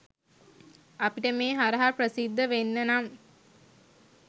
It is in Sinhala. අපිට මේ හරහා ප්‍රසිද්ධ වෙන්න නම්